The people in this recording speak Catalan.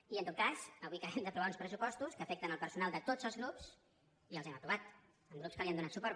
i en tot cas avui acabem d’aprovar uns pressupostos que afecten el personal de tots els grups i els hem aprovat amb grups que li han donat suport